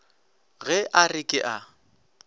ge a re ke a